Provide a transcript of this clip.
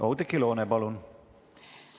Oudekki Loone, palun!